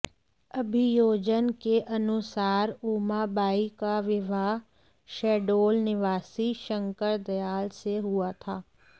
अभियोजन के अनुसार उमा बाई का विवाह शहडोल निवासी शंकरदयाल से हुआ था